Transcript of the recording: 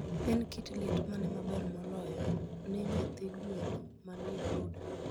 En kit liet mane maber moloyo ne nyathi gweno manie brooder?